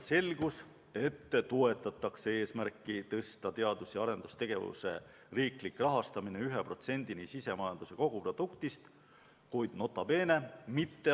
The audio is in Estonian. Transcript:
Selgus, et toetatakse eesmärki tõsta teadus- ja arendustegevuse riiklik rahastamine 1%-ni sisemajanduse kogutoodangust, kuid – nota bene!